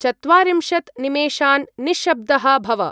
चत्वारिंशत्-निमेषान् निश्शब्दः भव।